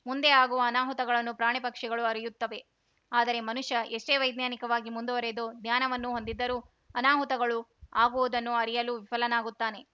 ಮುಂದೆ ಆಗುವ ಅನಾಹುತಗಳನ್ನು ಪ್ರಾಣಿಪಕ್ಷಿಗಳು ಅರಿಯುತ್ತವೆ ಆದರೆ ಮನುಷ್ಯ ಎಷ್ಟೇ ವೈಜ್ಞಾನಿಕವಾಗಿ ಮುಂದುವರಿದು ಜ್ಞಾನವನ್ನು ಹೊಂದಿದ್ದರೂ ಅನಾಹುತಗಳು ಆಗುವುದನ್ನು ಅರಿಯಲು ವಿಫಲನಾಗುತ್ತಾನೆ